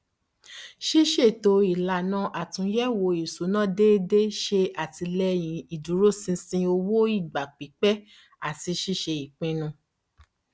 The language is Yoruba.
ṣísètò ìlànà àtúnyẹwò ìṣúná déédéé ṣe àtìlẹyìn ìdúrósinṣin owó ìgbà pípẹ àti ṣíṣe ipinnu